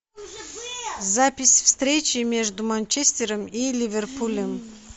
запись встречи между манчестером и ливерпулем